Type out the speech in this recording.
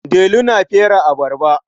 Delu yana fere abarba.